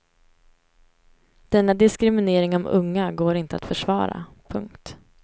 Denna diskriminering av unga går inte att försvara. punkt